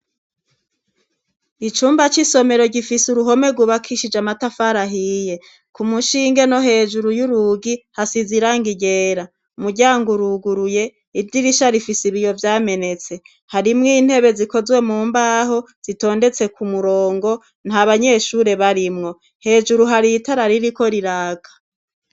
Icumba c'isomero gifise uruhome rwubakishije amatafara ahiye. K'umushinge no hejuru y'urugi, hasize irangi ryera. Umuryango uruguruye, idirisha rifise ibiyo vyamenetse. Harimwo intebe zikozwe mu mbaho zitondetse ku murongo. Nta banyeshure barimwo. Hejuru har'itara ririko riraka.